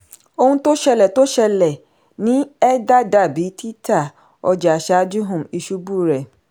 ohun tó ṣẹlẹ̀ tó ṣẹlẹ̀ ní ether dàbí títà ọjà ṣáájú um ìṣubú rẹ̀.